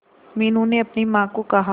मीनू ने अपनी मां को कहा